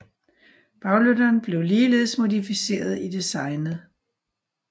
Baglygterne blev ligeledes modificeret i designet